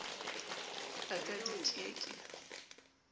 ba ka di ke ke